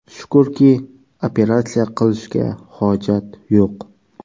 Shukurki, operatsiya qilishga hojat yo‘q.